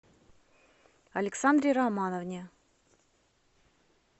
александре романовне